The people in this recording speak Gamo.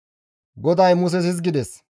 GODAY Muses hizgides,